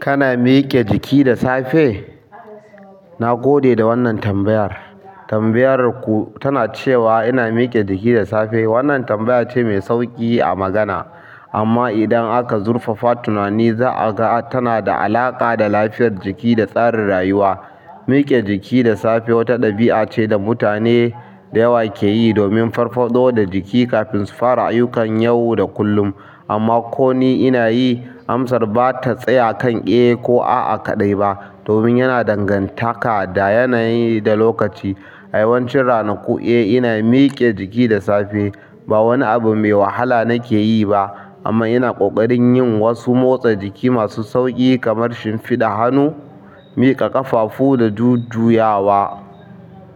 Kana. Miƙe jiki da safe na gode da wannan tambayar. Tambayar ku tana cewa ina miƙe jiki da safe. Wannan tambaya ce mai sauƙi a magana, amma idan aka zurfafa tunani za'a ga tana da alaƙa da lafiyar jiki da tsarin rayuwa. Miƙe jiki da safe wata ɗabi'a ce da mutane da yawa ke yi domin farfaɗo da jiki kafin su fara ayyukan yau da kullum. Amma ko ni ina yi, amsar ba ta tsaya kan "Eh" ko "A'a kaɗai" ba, domin yana danganta da yanayi da lokaci. A yawancin ranaku, eh, ina miƙe jiki da safe. Ba wani abu mai wahala nake yi ba, amma ina ƙoƙarin yin wasu motsa jiki masu sauƙi kamar shimfiɗa hannu, miƙa ƙafafu da jujjuyawa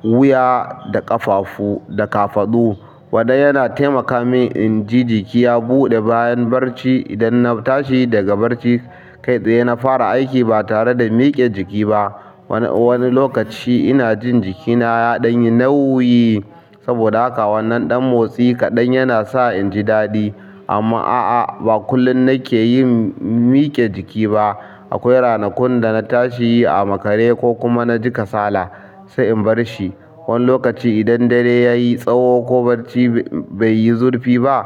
wuya da ƙafafu da kafadu. Wannan yana taimaka min in ji jiki ya buɗe bayan barci idan na tashi daga barci kai tsaye na fara aiki ba tare da miƙe jiki ba. Wani lokaci ina jin jikina yayi nauyi saboda wannnan ɗan motsi ina sa jikina inji yayi daɗi amma a'a, ba kullum nake yin miƙe jiki ba. Akwai ranakun da tashi a makare ko naji kasala sai in barshi. Wani lokaci idan dare ya yi tsawo ko barci bai yi zurfi ba,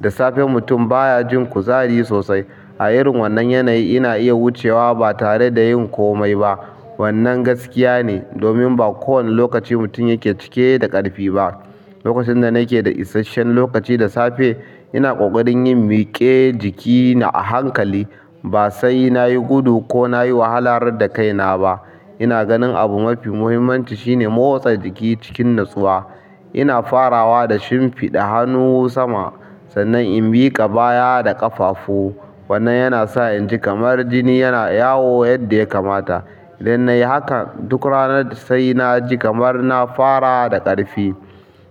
da safe mutum baya jin kuzari sosai. A irin wannan yanayi ina iya wucewa ba tare da yin kome ba. Wannan gaskiya ne, domin ba kowane lokaci mutum yake cike da ƙarfi ba. Lokacin da nake da isasshen lokaci da safe, ina ƙoƙarin yin miƙe jikina a hankali, ba sai na yi gudu ko na yi wahalar da kaina ba. Ina ganin abu mafi muhimmanci shine motsa jiki cikin natsuwa. Ina farawa da shimfiɗa hannu sama, sannan in miƙa baya da ƙafafu. Wannan yana sa in ji kamar jini yana yawo yadda ya kamata. Idan na yi haka duk rana, sai na ji kamar na fara da ƙarfi.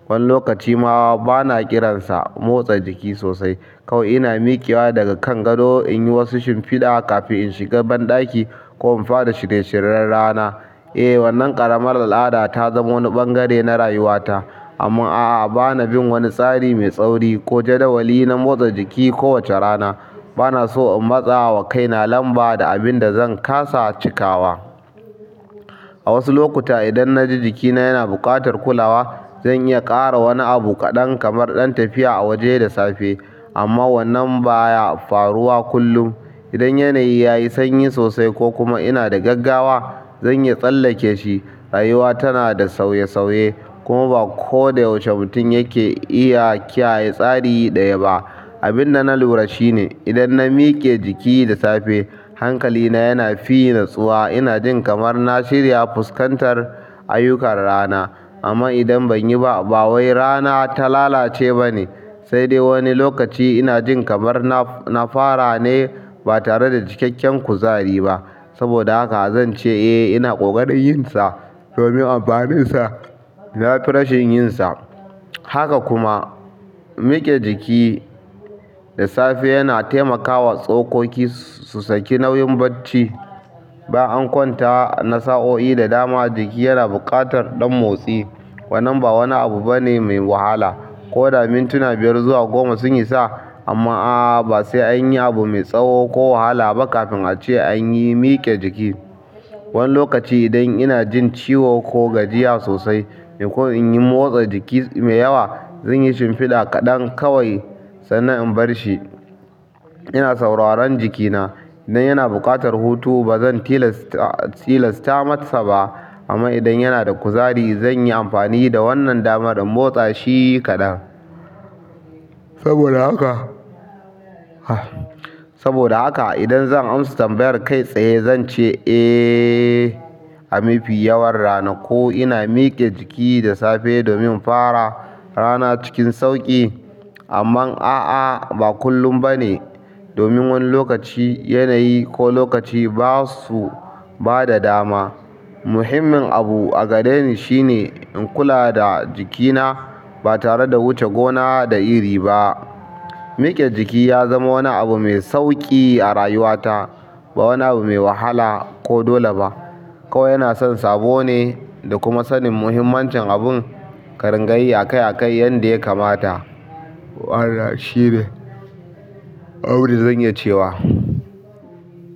Wani lokaci ma bana kiransa motsa jiki sosai. Kauwaiina miƙewa daga kan gado in yi wasu shimfiɗa kafin in shiga banɗaki ko in fara shirye-shiryen rana. Eh, wannan ƙaramar al'ada ta zama wani ɓangare na rayuwata. Amma a'a, ba na bin wani tsari mai tsauri ko jadawali na motsa jiki kowace rana. Ba na so in matsa wa kaina lamba da abin da zan ƙasa cikawa. A wasu lokuta, idan na ji jikina yana buƙatar kulawa, zan iya ƙara wani abu kaɗan kamar ɗan tafiya a waje da safe. Amma wannan baya faruwa kullum idan yanayi ya yi sanyi sosai ko kuma ina da gaggawa, zan iya tsallake shi. Rayuwa tana da sauye-sauye, kuma ba koda yaushe mutum yake iya kiyaye tsari ɗaya ba. Abin da na lura shi ne idan na miƙe jiki da safe, hankalina yana fi natsuwa. Ina jin kamar na shirya fuskantar ayyukan rana. Amma idan ban yi ba, ba wai rana ta lalace ba ne. Sai dai wani lokaci ina jin kamar na fara ne ba tare da cikakken kuzari ba. Saboda haka zan ce eh, ina ƙoƙarin yin sa domin amfaninsa. Na fi rashin yin sa. Haka kuma miƙe jiki yana taimakawa tsokoki su saki nauyin bacci ba an kwanta na sa'o'i da dama jiki yana buƙatar ɗan motsi. Wannan ba wani abu bane mai wahala. Koda mintuna biyar zuwa goma su isa amma a'a, ba sai an yi abu mai tsawo ko wahala ba kafin a ce an yi miƙe jiki. Wani lokaci idan ina jin ciwo ko gajiya sosai ko in yi motsa jiki mai yawa, zan yi shimfiɗa kaɗan kawai sannan in bar shi. Ina sauraron jikina. Idan yana buƙatar hutu, ba zan tilasta masa ba. Amma idan yana da kuzari, zan yi amfani da wannan dama don motsa shi kaɗan. Saboda haka, saboda haka idan zan amsa tambayar kai tsaye zan ce eh, a mafi yawan ranaku ina miƙe jiki da safe domin fara rana cikin sauƙi. Amma a'a, ba kullum ba ne, domin wani lokaci yanayi ko lokaci ba su ba da dama. Muhimmin abu a gare ni shi ne in kula da jikina ba tare da wuce gona da iri ba. Miƙe jiki ya zama wani abu mai sauƙi a rayuwata, ba wani abu mai wahala ko dole ba. Kawai yana son sabo ne da kuma sanin muhimmancin abun ƙarin gayi a kai a kai yadda ya kamata. Wannan shine abunda zan iya cewa.